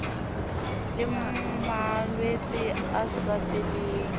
le malwetse a sa feleng